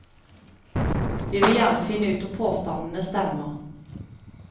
Vi vil gjerne finne ut om påstandene stemmer.